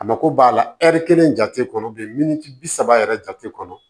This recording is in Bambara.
A mako b'a la kelen jate kɔnɔ miniti bi saba yɛrɛ jate kɔnɔ